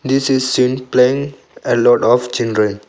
This is seem play a lot of children.